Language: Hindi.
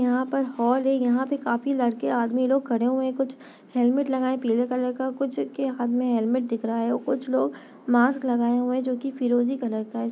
यहाँ पे हॉल है यहाँ पे काफी लड़के आदमी लोग खड़े हुए है कुछ हेलमेट लगाए है पिले कलर का कुछ के हाँथ मे हेलमेट है कुछ लोग मास्क लगाए हुए है जो कि फिरोज़ी कलर का है।